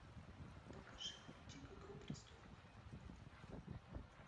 покажи мультик игру престолов